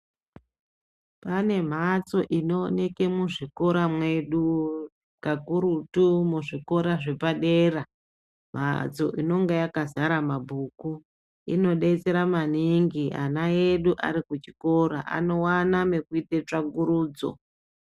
Pane mhatso inooneke muzvikora mwedu, kakurutu muzvikora zvepadera. Mhatso inonga yakazara mabhuku. Inodetsera maningi ana edu ari kuchikora, anowana mekuite tsvagurudzo.